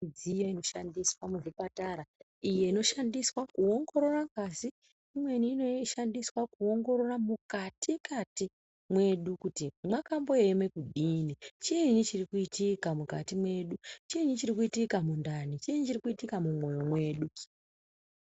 Midziyo inoshandiswa muzvipatara iyo inoshandiswa kuwongorora pashi imweni inoshandiswa kuwongorora mukati mwedu kuti mwakambo yeme kudini chiini chiri kuitika mukati mwedu chiini chiri kuitika mundani chiini chiri kuitika mumwoyo mwedu.